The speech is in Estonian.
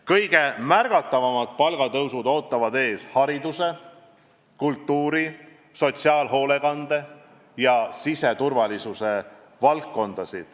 Kõige märgatavamad palgatõusud ootavad ees hariduse, kultuuri, sotsiaalhoolekande ja siseturvalisuse valdkonda.